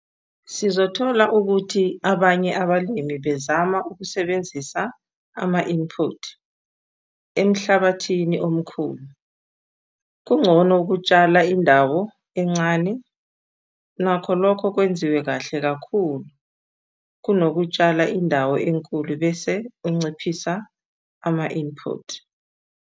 Sizothola ukuthi abanye abalimi bezama ukusebenzisa ama-input emhlabathini omkhulu - kungcono ukutshala indawo encane nakho lokho kwenziwe kahle kakhulu, kunokutshala indawo enkulu bese unciphisa ama-input.